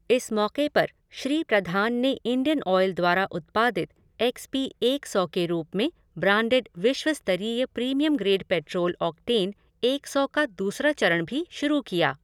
इस मौक़े पर श्री प्रधान ने इंडियन ऑयल द्वारा उत्पादित एक्स पी एक सौ के रूप में ब्रांडेड विश्व स्तरीय प्रीमियम ग्रेड पेट्रोल ऑक्टेन एक सौ का दूसरा चरण भी शुरू किया।